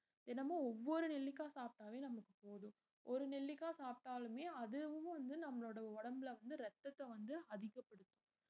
தினமும் ஒவ்வொரு நெல்லிக்காய் சாப்பிட்டாலே நமக்கு போதும் ஒரு நெல்லிக்காய் சாப்பிட்டாலுமே அதுவும் வந்து நம்மளோட உடம்புல வந்து ரத்தத்தை வந்து அதிகப்படுத்தும்